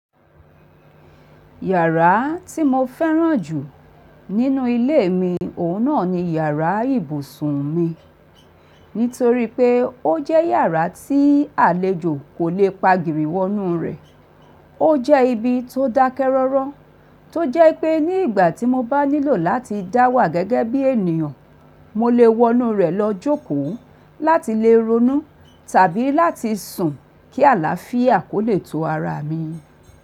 Yàrá tí mo fẹ́ràn jù nínú ilé mi, òun náà ni yàrá ibùsùn mi. Nítorí pé ó jẹ́ yàrá tí àlejò kò le pagìrì wọ inú rẹ̀. Ó jẹ́ ibi tó dákẹ́ rọ́rọ́, tó jẹ́ pé ní ìgbà tí mo bá nílò láti dá wà gẹ́gẹ́ bí ènìyàn, mo lè wọ inú rẹ̀ lọ jókòó láti lè ronú tàbí láti sùn kí àlàáfíà kó lè to ara mi.